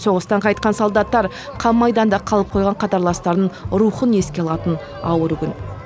соғыстан қайтқан солдаттар қан майданда қалып қойған қатарластарының рухын еске алатын ауыр күн